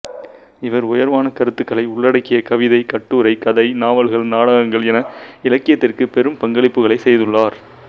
இவர் உயர்வான கருத்துக்களை உள்ளடக்கிய கவிதை கட்டுரை கதை நாவல்கள் நாடகங்கள் என இலக்கியத்திற்குப் பெரும் பங்களிப்புகளைச் செய்துள்ளார்